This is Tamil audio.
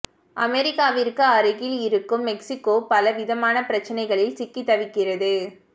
அமெரிக்காவிற்கு அருகில் இருக்கும் மெக்சிகோ பல விதமான பிரச்சனைகளில் சிக்கி தவிக்கிறது